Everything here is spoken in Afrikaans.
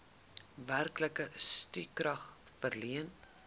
werklike stukrag verleen